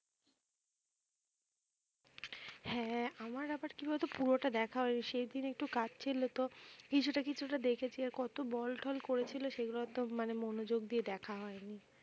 হ্যাঁ আমার আবার কি বলতো পুরোটা দেখা হয়নি, সেইদিন একটু কাজ ছিলো তো, কিছুটা কিছুটা দেখেছি আর কত বল টল করেছিল সেগুলো ওতো মানে মনোযোগ দিয়ে দেখা হয়নি।